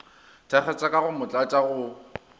thakgatša ka go motlatša go